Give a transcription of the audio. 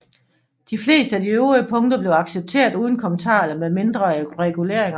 De fleste af de øvrige punkter blev accepteret uden kommentarer eller med mindre reguleringer